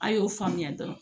A y'o faamuya dɔrɔn